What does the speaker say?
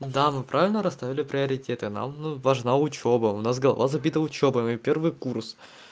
да мы правильно расставили приоритеты нам ну важна учёба у нас голова забита учёбой мы первый курс